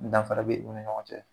Danfara bɛ u ni ɲɔgɔn cɛ